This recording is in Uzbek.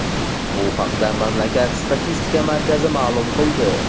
Bu haqda mamlakat statistika markazi ma’lum qildi .